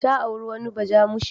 Ta auri wani bajamushe.